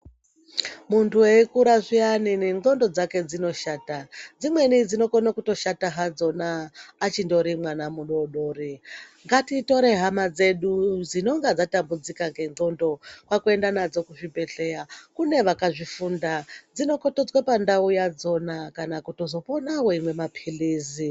Muntu eikura zviyani nengonxo dzake dzinoshata dzimweni dzinokona kutoshata hadzona achindori mwana mudodori ngatitore hama dzedu dzinenge dzatambudzika nengonxo kwakuenda nadzo muzvibhedhlera kune Vakazvifunda dzinokototswa pandau yadzona kana kuzopona weimwa mapirizi.